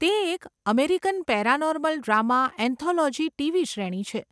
તે એક American paranormal drama anthology TV શ્રેણી છે.